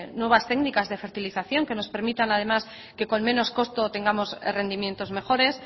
nuevas técnicas de fertilización que nos permitan además que con menos costo tengamos rendimientos mejores